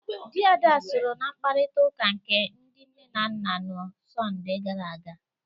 Di Ada sọrọ n'mkparita uka nke ndi nne na nna n'sonde gara aga.